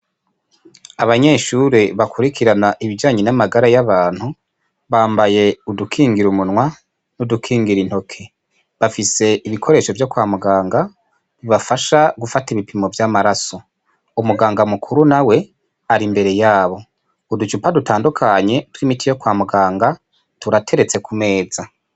Abanyeshure bakurikirana ibijanye n'amagara y'abantu bambaye udukingira umunwa n'udukingira intoke, bafise ibikoresho vyo kwa muganga bibafasha gufata ibipimo vy'amaraso, umuganga mukuru arimbere yabo. Uducupa dutandukanye twimiti yo kwa muganga turateretse kumeza.